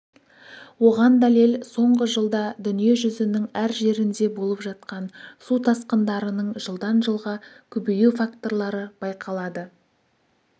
оған дәлел соңғы жылда дүние жүзінің әр жерінде болып жатқан су тасқындарының жылдан жылға көбею факторлары байқалады